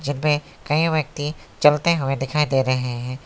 पे कई व्यक्ति चलते हुए दिखाई दे रहे हैं।